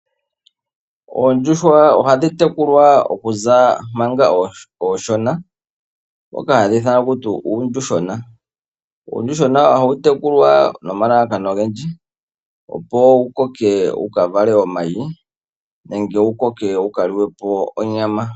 Oondjuhwa ohadhi tekulwa okuza manga onshona. Moka hadhi ithanwa takuti uuyuhwena. Uuyuhwena oha wu tekulwa nomalalakano ogendji. Opo wu koke wu vale oomayi nenge wu koke wuka liwe po onyama.